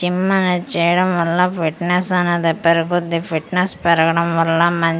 gym అనేది చెయ్యడం వల్ల ఫిట్నెస్ అనేది పెరుగుద్ది ఫిట్నెస్ పెరగడం వల్ల మం --